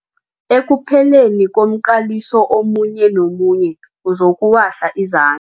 Ekupheleni komqaliso omunye nomunye uzokuwahla iza